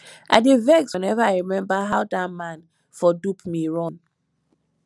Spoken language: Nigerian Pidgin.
i dey vex whenever i remember how dat man for dupe me run